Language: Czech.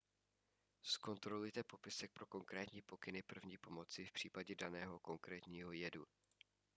zkontrolujte popisek pro konkrétní pokyny první pomoci v případě daného konkrétního jedu